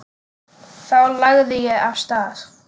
Þá lagði ég af stað.